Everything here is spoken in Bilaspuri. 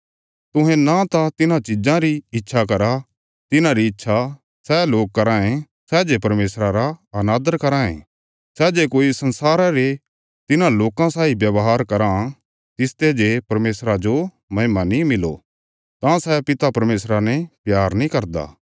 तुहें न त तिन्हां चिज़ां री इच्छा करा तिन्हांरी इच्छा सै लोक कराँ ये सै जे परमेशरा रा अनादर कराँ ये जे कोई संसारा रे तिन्हां लोकां साई व्यवहार कराँ तिसते जे परमेशरा जो महिमा नीं मिलो तां सै पिता परमेशरा ने प्यार नीं करदा